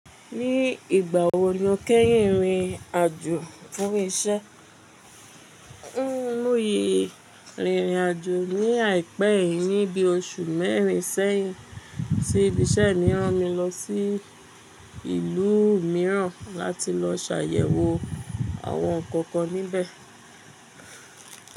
Ní ìgbà wo ni o kẹ́yìn rìnrìn àjò fún iṣẹ́? Mo sìí rìnrìn àjò ní àìpẹ́ yìí ní bí oṣù mẹ́rin sẹ́yìn ti ibi iṣẹ́ mìí ràn mi lọ sí ìlú mìíràn láti lọ ṣàyẹ̀wò àwọn ǹkan kan níbẹ̀.